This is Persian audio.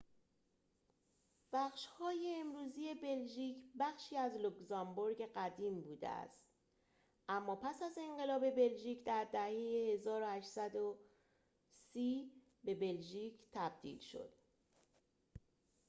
بخش‌های امروزی بلژیک بخشی از لوکزامبورگ قدیم بوده اما پس از انقلاب بلژیک در دهه ۱۸۳۰ به بلژیک تبدیل شد